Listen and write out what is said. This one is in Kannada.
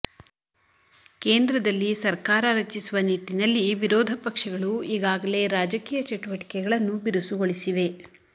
ಕೇಂದ್ರದಲ್ಲಿ ಸರ್ಕಾರ ರಚಿಸುವ ನಿಟ್ಟಿನಲ್ಲಿ ವಿರೋಧಪಕ್ಷಗಳು ಈಗಾಗಲೇ ರಾಜಕೀಯ ಚಟುವಟಿಕೆಗಳನ್ನು ಬಿರುಸುಗೊಳಿಸಿವೆ